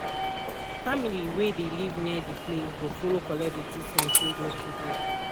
family wey de live near de place go follow collect de treament wey de to do.